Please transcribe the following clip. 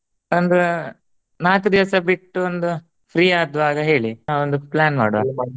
ಒಂದ್ ನಾಕ್ ದಿವ್ಸ ಬಿಟ್ಟು ಒಂದು free ಆದ್ವಗಾ ಹೇಳಿ ಒಂದು plan ಮಾಡುವ .